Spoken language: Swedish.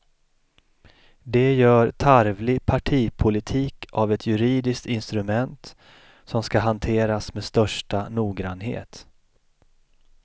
De gör tarvlig partipolitik av ett juridiskt instrument som ska hanteras med största noggrannhet.